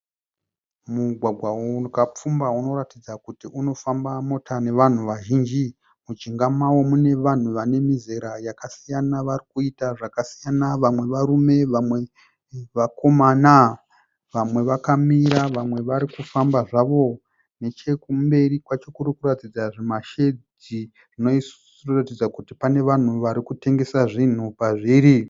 Mugwagwa wakapfumba unoratidza kuti unofamba mota nevanhu vazhinji mujinga mawo mune vanhu vane mizera yakasiyana varikuita zvakasiyana vamwe varume vamwe vakomana, vamwe vakamira vamwe varikufamba zvavo, nechekumberi kwacho kurikuratidza zvimashedhi zvinoratidza kuti pane vanhu varikutengesa zvinhu pazviri.